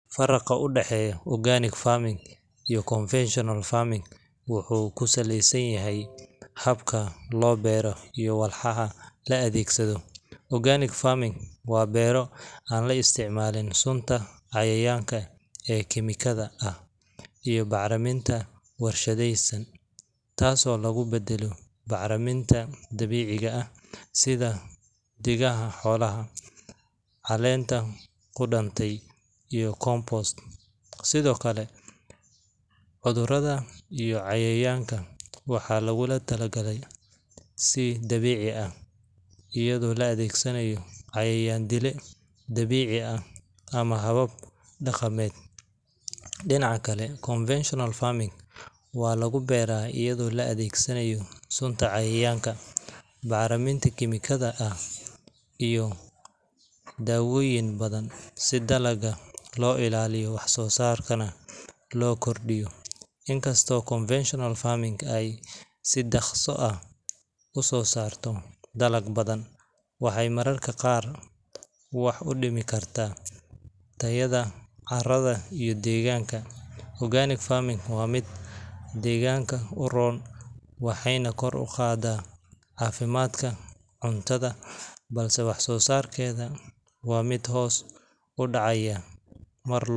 Faraqa u daxeeyoh organic farming iyo convectionalfarming waxy kusaleysanyahay habka lo biroh iyo walxaxa la adegsadah organic farming wabeer an la isticmalin cunta cayayanga ee chemical ah iyo carabinta warshatheysan taaso lagu badalih macalaminta dabeceika aah setha degaha xolaha, calanta kudantay iyo compost sethakali cuthurada iyo cayayanga waxalagu talaagalay si dabeeci ah eyado la adegsanayo cayayandele dabeeci. Ah amah habab daqameet denacakali convectional farming walagu beeraha eyado la adegsaday sunta cayayanga macariminta kimekatha aah iyo dawoyin farabadan dalaga lo ilaliyah dalagana lo kordiyoh inta inkasto conversational farming ay si daqso aah usosartoh dalag bathan waxay maraargbqaar waxa u heli karah carada iyo deganaka organic farming wa meet deganaka u room waxayna kor u qaadah cafimdka cuntatha balse wax sosarketha mid hoos u dacaya.